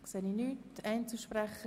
– Ich sehe keine Wortmeldungen.